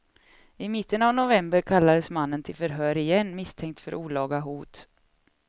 I mitten av november kallades mannen till förhör igen, misstänkt för olaga hot.